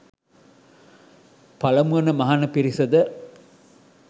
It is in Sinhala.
පළමු වන මහණ පිරිසද